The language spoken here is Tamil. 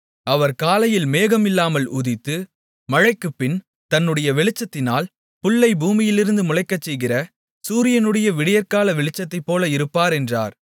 அவர் காலையில் மேகம் இல்லாமல் உதித்து மழைக்குப்பின்பு தன்னுடைய வெளிச்சத்தினால் புல்லை பூமியிலிருந்து முளைக்கச்செய்கிற சூரியனுடைய விடியற்கால வெளிச்சத்தைப்போல இருப்பார் என்றார்